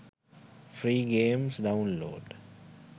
free games download